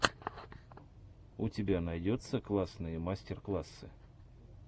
у тебя найдется классные мастер классы